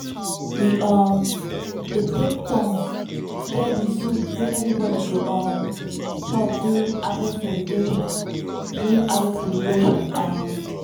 we um dey take turns stir di soup wey everybody go um chop during harvest celebration. during harvest celebration. um